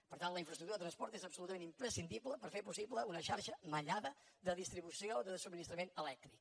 per tant la infraestructura de transport és absolutament imprescindible per fer possible una xarxa mallada de distribució de subministrament elèctric